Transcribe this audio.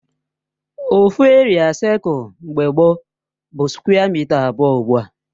Ofu eria seculu mgbe gbo bụ skwe mịta abụọ ugbua